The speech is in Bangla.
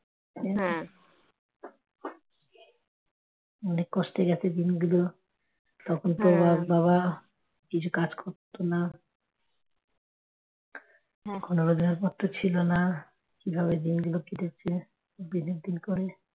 অনেক কষ্টে গেছে দিনগুলো তখন তোর বাবা কিছু কাজ করত না রোজগার পত্র ছিল না কিভাবে দিনগুলো কেটেছে দিনের দিন করে